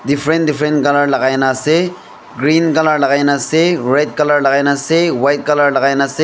Different different colour lagai na ase green colour lagai na ase red colour lagai na ase white colour lagai na ase.